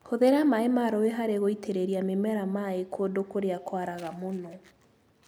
Hũthĩra maĩ ma rũĩ harĩ gũitĩrĩria mĩmera mai kũndu kũrĩa kwaraga mũno.